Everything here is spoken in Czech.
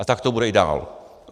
A tak to bude i dál.